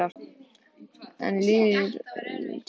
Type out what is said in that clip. En svona líður tíminn.